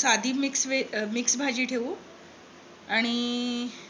साधी mix veg mix भाजी ठेवू आणि